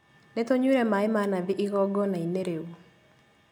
Nĩtũnyuire maĩ ma nathi igongona-inĩ rĩu